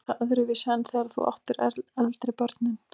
Er það öðruvísi en þegar þú áttir eldri börnin?